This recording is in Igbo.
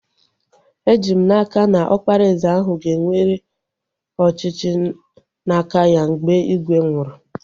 Eji m n'aka, na Ọkpara eze ahu ga-ewere ọchịchị n'aka ya mgbe ígwè nwụrụ